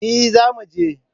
Eh, za mu je